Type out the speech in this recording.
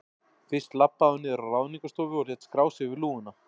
Fyrst labbaði hún niður á Ráðningarstofu og lét skrá sig við lúguna.